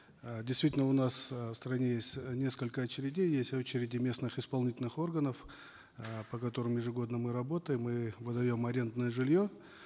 э действительно у нас э в стране есть э несколько очередей есть очереди местных исполнительных органов э по которым ежегодно мы работаем мы выдаем арендное жилье